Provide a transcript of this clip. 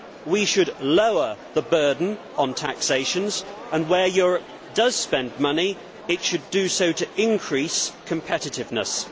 We should lower the burden on taxations and, where Europe does spend money, it should do so to increase competitiveness.